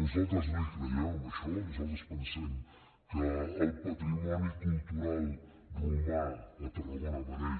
nosaltres no hi creiem en això nosaltres pensem que el patrimoni cultural romà a tarragona